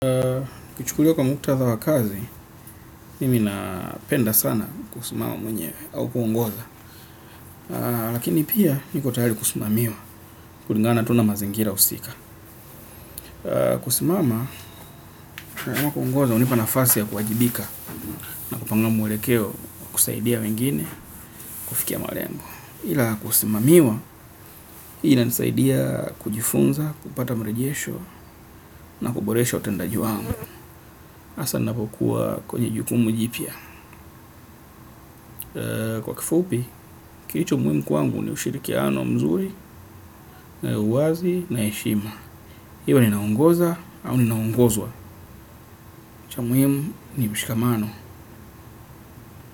Kuchukuliwa kwa mkutadha wa kazi, mimi napenda sana kusimama mwenyewe au kuongoza. Lakini pia niko tayari kusimamiwa, kulingana tu na mazingira husika. Kusimama, kuongoza, hunipa nafasi ya kuwajibika na kupanga mwelekeo kusaidia wengine kufikia malengo. Ila kusimamiwa, inanisaidia kujifunza, kupata marejesho na kuboresha utendaji wangu. Hasa ninapokuwa kwenye jukumu jipya. Kwa kifupi, kilicho muhimu kwangu ni ushirikiano mzuri na uwazi na heshima iwe ninaongoza au ninaongozwa. Cha muhimu ni mshikamano.